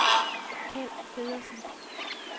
Kjeld Feddersen